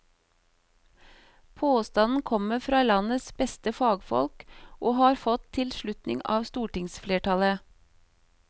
Påstanden kommer fra landets beste fagfolk og har fått tilslutning av stortingsflertallet.